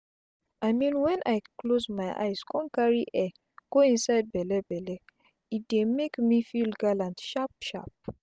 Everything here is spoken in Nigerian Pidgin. i mean when i close my eyes con carri air go inside belle belle e dey make me feel gallant sharp sharp